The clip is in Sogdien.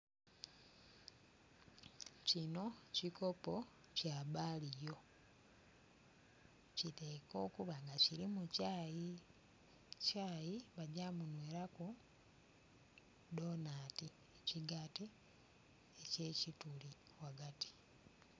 Kino kikopo kya balio, kiteekwa okuba nga kirimu kyayi, kyayi bagya kumunwelaku dhonati ekigaati ekyekituli ghagati.